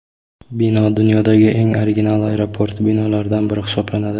Bino dunyodagi eng original aeroport binolaridan biri hisoblanadi.